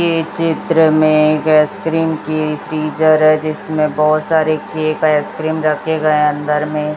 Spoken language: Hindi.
ये चित्र में एक आइसक्रीम की फ्रीजर है जिसमें बहोत सारे केक आइसक्रीम रखे गए अंदर में --